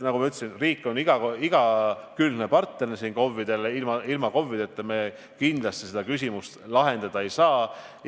Nagu ma ütlesin, siis riik on siin KOV-idele igakülgne partner, ilma KOV-ideta me seda küsimust kindlasti lahendada ei saa.